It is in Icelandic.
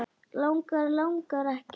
Langar, langar ekki.